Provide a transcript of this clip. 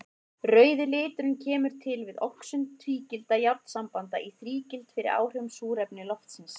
Rauði liturinn kemur til við oxun tvígildra járnsambanda í þrígild fyrir áhrif súrefnis loftsins.